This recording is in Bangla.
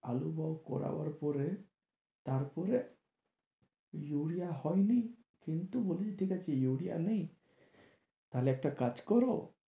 আলু করাবার পরে তার পরে ইউরিয়া হয়নি কিন্তু বলেছে ঠিক আছে ইউরিয়া নেই তাহলে একটা কাজ করো